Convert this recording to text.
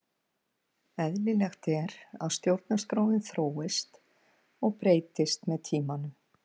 Eðlilegt er að stjórnarskráin þróist og breytist með tímanum.